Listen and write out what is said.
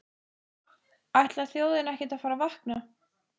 Ætlar þjóðin ekkert að fara að vakna?